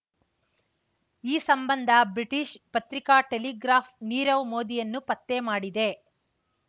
ಈ ಸಂಬಂಧ ಬ್ರಿಟಿಷ್ ಪತ್ರಿಕಾ ಟೆಲಿಗ್ರಾಫ್ ನೀರವ್ ಮೋದಿಯನ್ನು ಪತ್ತೆ ಮಾಡಿದೆ